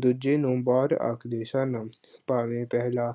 ਦੂਜੇ ਨੂੰ ਬਾਹਰ ਆਖਦੇ ਸਨ, ਭਾਵੇਂ ਪਹਿਲਾ